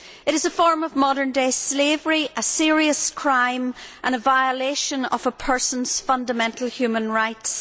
It is a form of modern day slavery, a serious crime and a violation of a person's fundamental human rights.